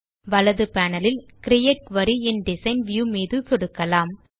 வலது பேனல் லில் create query in design view மீது சொடுக்கலாம்